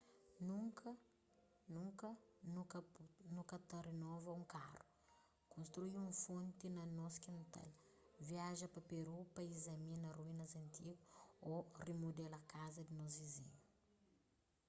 nunka nu ka ta renova un karu konstrui un fonti na nos kintal viaja pa peru pa izamina ruínas antigu ô rimudela kaza di nos vizinhu